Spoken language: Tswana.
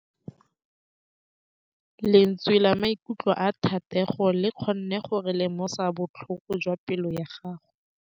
Lentswe la maikutlo a Thategô le kgonne gore re lemosa botlhoko jwa pelô ya gagwe.